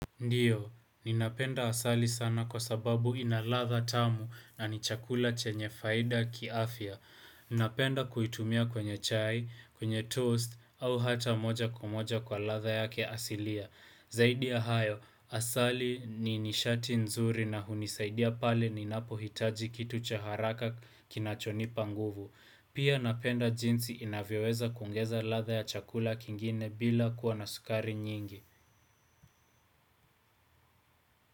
Ndiyo, ninapenda asali sana kwa sababu ina ladha tamu na ni chakula chenye faida kiafya. Ninapenda kuitumia kwenye chai, kwenye toast au hata moja kwa moja kwa ladha yake ya asilia. Zaidi ya hayo, asali ni nishati nzuri na hunisaidia pale ninapohitaji kitu cha haraka kinachonipa nguvu. Pia napenda jinsi inavyoweza kuongeza ladha ya chakula kingine bila kuwa na sukari nyingi.